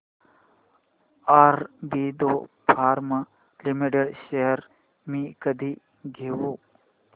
Aurobindo pharma limited shares मी कधी घेऊ